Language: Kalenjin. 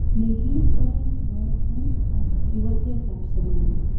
Nekit oret noton ak kiwatet ab Somalia